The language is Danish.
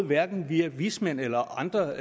hverken via vismænd eller andre